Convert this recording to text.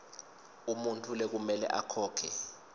umuntfu lekumele akhokhe